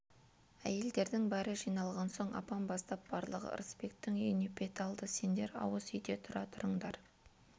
әйелдердің бәрі жиналған соң апам бастап барлығы ырысбектің үйіне бет алды сендер ауыз үйде тұра тұрыңдар